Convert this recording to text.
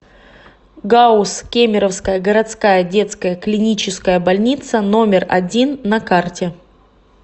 гауз кемеровская городская детская клиническая больница номер один на карте